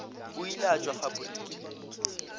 o ile a tšwa faporiking